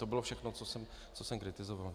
To bylo všechno, co jsem kritizoval.